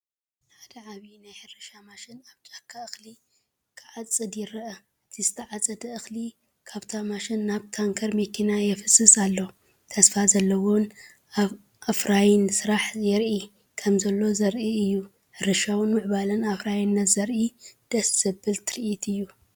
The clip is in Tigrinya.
ሓደ ዓቢይ ናይ ሕርሻ ማሽን ኣብ ጫካ እኽሊ ክዓጽድ ይርአ። እቲ ዝተዓፀደ እኽሊ ካብታ ማሽን ናብ ታንከር መኪና ይፈስስ ኣሎ። ተስፋ ዘለዎን ኣፍራይን ስራሕ የርኢ ከምዘሎ ዘርኢ እዩ። ሕርሻዊ ምዕባለን ኣፍራይነትን ዘርኢ ድሰ ዘብል ትርኢት እዩ።